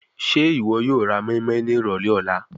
Ṣe iwọ yoo ra moinmoin ni irọlẹ ọla?